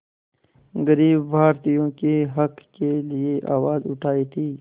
ग़रीब भारतीयों के हक़ के लिए आवाज़ उठाई थी